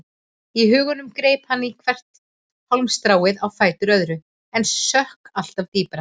Í huganum greip hann í hvert hálmstráið á fætur öðru en sökk alltaf dýpra.